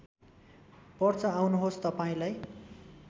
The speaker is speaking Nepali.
पर्छ आउनुहोस् तपाईँलाई